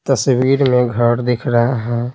तस्वीर में घर दिख रहा है।